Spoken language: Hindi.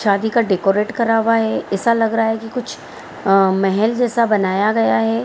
शादी का डेकोरेट करा हुआ है ऐसा लग रहा है की कुछ अ महल जैसा बनाया गया है।